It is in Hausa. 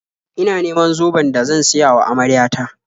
Ina neman zoben da zan siya wa amarya ta.